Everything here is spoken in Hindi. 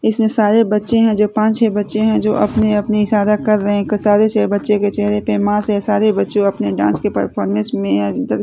इसमें सारे बच्चे हैं जो पांच छः बच्चे हैं जो अपने अपने इशारा कर रहे हैं कि बच्चे के चेहरे पे मास है सारे बच्चों अपने डांस के परफॉर्मेंस में अ--